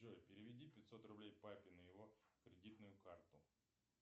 джой переведи пятьсот рублей папе на его кредитную карту